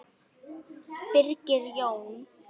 Birgir Jón.